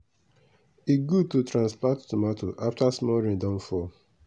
e good to transplant tomato after small rain don fall.